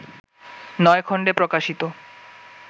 নয় খণ্ডে প্রকাশিত